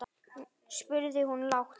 spurði hún lágt.